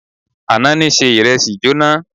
Àná ni se ìrẹsì jóná.